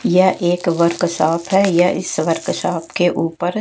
यह एक workshop है। यह इस वर्क शॉप के ऊपर--